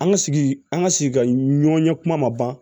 An ka sigi an ka sigi ka ɲɔn ɲɛ kuma ma ban